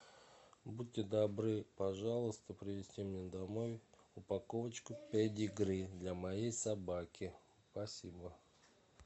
будьте добры пожалуйста привезти мне домой упаковочку педигри для моей собаки спасибо